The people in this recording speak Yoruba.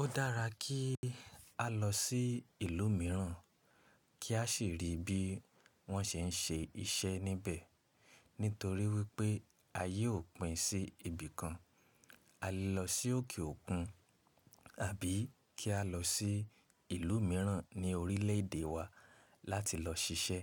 Ó dára kí á lọ sí ìlú mìíràn kí a sì ri bí wọ́n ṣe ń ṣe iṣẹ́ níbẹ̀ nítorí wípé ayé ò pin sí ibìkan. A lè lọ sí òkè òkun àbí kí á lọ sí ìlú mìíràn ní orílẹ̀ èdè wa láti lọ ṣiṣẹ́